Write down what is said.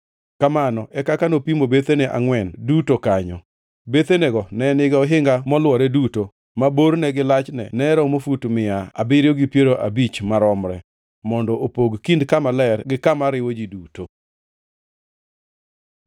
Kamano e kaka nopimo bethene angʼwen duto kanyo. Bethenego ne nigi ohinga molwore duto, ma borne gi lachne ne oromo fut mia abiriyo gi piero abich maromre, mondo opog kind kama ler gi kama oriwo ji duto.